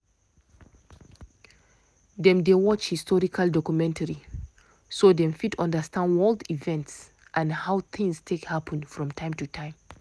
dem dey watch historical documentary so dem fit understand world events and how things take happen from time to time